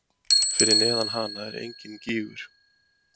Fyrir neðan hana er enginn gígur.